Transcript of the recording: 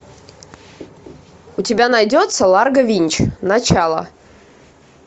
у тебя найдется ларго винч начало